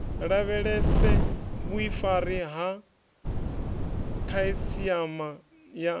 lavhelese vhuifari ha khasiama na